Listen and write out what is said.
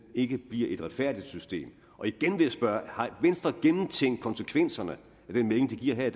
ikke bliver et retfærdigt system og igen vil jeg spørge har venstre gennemtænkt konsekvenserne af den melding de giver her